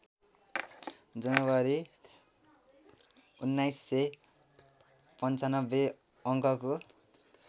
जनवरी १९९५ अङ्कको